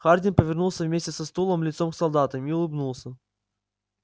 хардин повернулся вместе со стулом лицом к солдатам и улыбнулся